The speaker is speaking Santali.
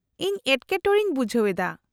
-ᱤᱧ ᱮᱴᱠᱮᱴᱚᱬᱮᱧ ᱵᱩᱡᱦᱟᱹᱣ ᱮᱫᱟ ᱾